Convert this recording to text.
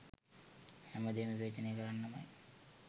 හැම දේම විවේචනය කරන්නමයි.